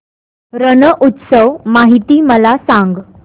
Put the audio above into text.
रण उत्सव माहिती मला सांग